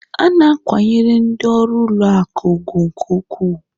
A na-akwanyere ndị ọrụ ụlọ akụ ùgwù nke ukwuu.